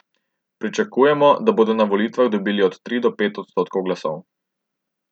Pričakujejo, da bodo na volitvah dobili od tri do pet odstotkov glasov.